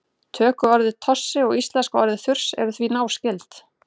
tökuorðið tossi og íslenska orðið þurs eru því náskyld